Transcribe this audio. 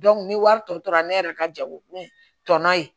ni wari tɔ tora ne yɛrɛ ka jago ye tɔnɔ ye